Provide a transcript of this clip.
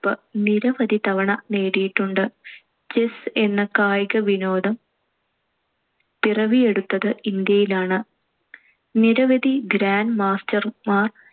പ്പ്~ നിരവധി തവണ നേടിയിട്ടുണ്ട്. chess എന്ന കായിക വിനോദം പിറവിയെടുത്തത് ഇന്ത്യയിലാണ്‌. നിരവധി grand master മാർ